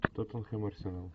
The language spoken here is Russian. тоттенхэм арсенал